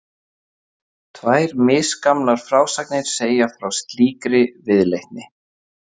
Tvær misgamlar frásagnir segja frá slíkri viðleitni.